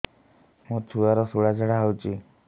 ମୋ ଛୁଆର ସୁଳା ଝାଡ଼ା ହଉଚି